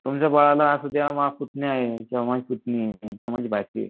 असुद्या माझा पुतण्या आहे किंवा माझी पुतणी आहे किंवा माझी भाची ये.